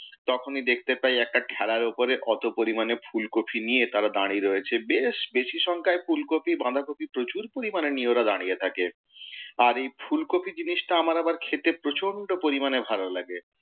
তখনই দেখতে পাই একটা ঠ্যালার ওপরে অত পরিমাণে ফুলকফি নিয়ে তারা দাঁড়িয়ে রয়েছে। বেশ বেশী সংখ্যায় ফুলকফি বাঁধাকফি প্রচুর পরিমাণে নিয়ে ওরা দাঁড়িয়ে থাকে। আর এই ফুলকফি জিনিসটা আমার আবার খেতে প্রচণ্ড পরিমাণে ভালো লাগে।